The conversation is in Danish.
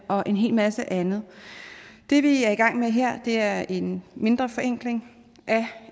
og en hel masse andet det vi er i gang med her er en mindre forenkling af